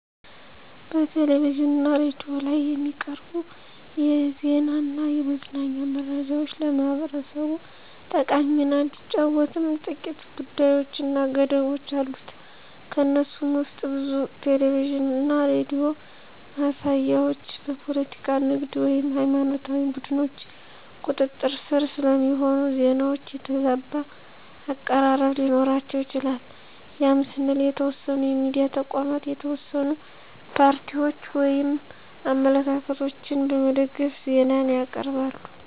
በቴሌቪዥን እና ሬዲዮ ላይ የሚቀርቡ የዜና እና የመዝናኛ መረጃዎች ለህብረተሰቡ ጠቃሚ ሚና ቢጫወትም ጥቂት ጉዳቶች እና ገደቦች አሉት። ከነሱም ውስጥ ብዙ ቴሌቪዥን እና ሬዲዮ ማሳያዎች በፖለቲካ፣ ንግድ ወይም ሃይማኖታዊ ቡድኖች ቁጥጥር ስር ስለሚሆኑ፣ ዜናዎቹ የተዛባ አቀራረብ ሊኖራቸው ይችላል ያም ስንል የተወሰኑ የሚዲያ ተቋማት የተወሰኑ ፓርቲዎችን ወይም አመለካከቶችን በመደገፍ ዜናን ያቅርባሉ።